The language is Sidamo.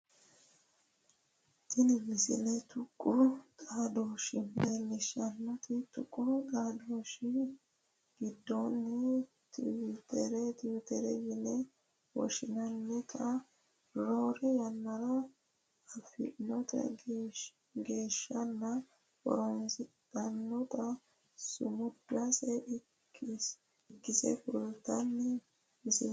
tini misile tuqu xaadooshshe leellishshannote tuqu xaadooshshi giddono twiiterete yine woshshinannita roore yannara afntino gashshaano horonsidhannota sumudase ikkasi kultanno misileeti